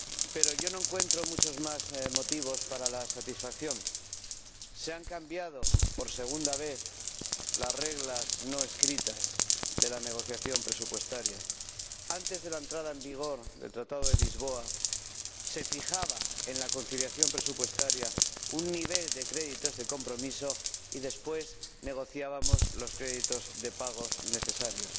Pero yo no encuentro muchos más motivos para la satisfacción se han cambiado por segunda vez las reglas no escritas de la negociación presupuestaria. Antes de la entrada en vigor del Tratado de Lisboa, se fijaba en la conciliación presupuestaria un nivel de créditos de compromiso y después negociábamos los créditos de pago necesarios.